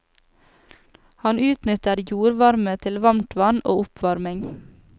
Han utnytter jordvarme til varmtvann og oppvarming.